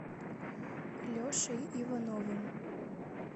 лешей ивановым